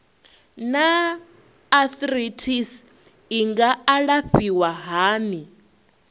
naa arthritis i nga alafhiwa hani